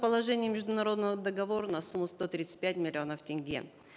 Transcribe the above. положения международного договора на сумму сто тридцать пять миллионов тенге